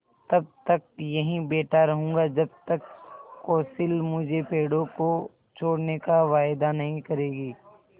तब तक यहीं बैठा रहूँगा जब तक कौंसिल मुझे पेड़ों को छोड़ने का वायदा नहीं करेगी